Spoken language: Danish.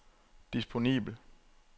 disponibel